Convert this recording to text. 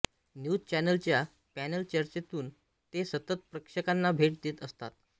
news चॅनलच्या panel चर्चेतून ते सतत प्रेक्षकांना भेटी देत असतात